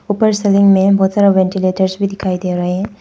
ऊपर सीलिंग में बहुत सारा वेंटीलेटर्स भी दिखाई दे रहे हैं।